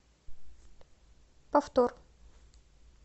повтор